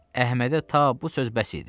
Əhmədə ta bu söz bəs idi.